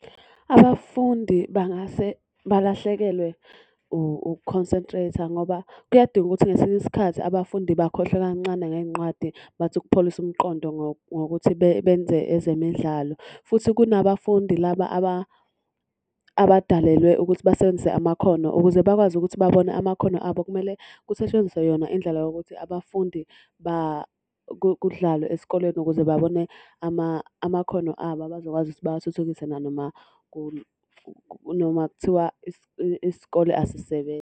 Abafundi bangase balahlekelwe uku-consentrate-a ngoba kuyadinga ukuthi ngesinye isikhathi abafundi bakhohlwe kancane ngey'nqwadi bathi ukupholisa umqondo ngokuthi benze ezemidlalo. Futhi kunabafundi laba abadalelwe ukuthi basebenzise amakhono. Ukuze bakwazi ukuthi babone amakhono abo kumele kusetshenziswe yona indlela yokuthi abafundi kudlalwe esikoleni ukuze babone amakhono abo abazokwazi ukuthi bawathuthukise nanoma kunoma kuthiwa isikole asisebenzi.